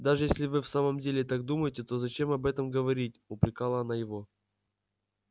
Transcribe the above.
даже если вы в самом деле так думаете то зачем об этом говорить упрекала она его